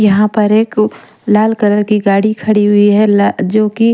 यहाँ पर एक लाल कलर की गाड़ी खड़ी हुई है जोकि--